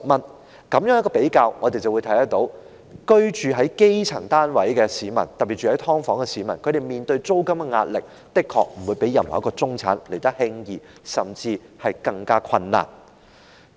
在比較兩者之後，我們便會看到居住在基層單位的市民，特別是居於"劏房"的市民，他們面對的租金壓力的確不比任何一位中產人士來得輕鬆，甚至是更困難。